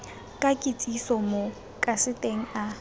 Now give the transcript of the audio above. ka kitsiso mo kaseteng a